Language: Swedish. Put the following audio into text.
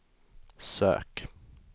sök